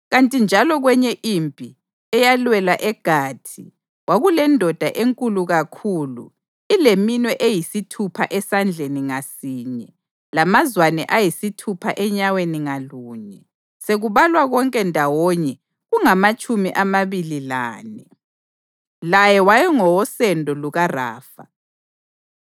Kanti njalo kwenye impi, eyalwelwa eGathi, kwakulendoda enkulu kakhulu ileminwe eyisithupha esandleni ngasinye, lamazwane ayisithupha enyaweni ngalunye, sekubalwa konke ndawonye kungamatshumi amabili lane. Laye wayengowosendo lukaRafa.